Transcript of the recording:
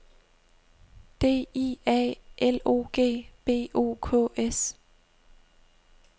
D I A L O G B O K S